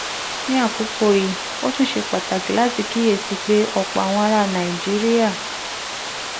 ní àkókò yìí ó tún ṣe pàtàkì láti kíyè sí i pé ọ̀pọ̀ àwọn ará nàìjíríà